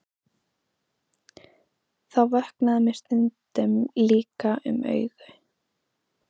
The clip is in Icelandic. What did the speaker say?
Þá vöknaði mér stundum líka um augu.